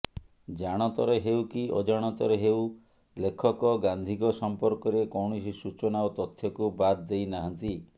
ଜାଣତରେ ହେଉକି ଅଜାଣତରେ ହେଉ ଲେଖକ ଗାନ୍ଧୀଙ୍କ ସମର୍କରେ କୌଣସି ସୂଚନା ଓ ତଥ୍ୟକୁ ବାଦ ଦେଇନାହାନ୍ତି